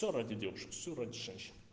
все ради девушки все женщин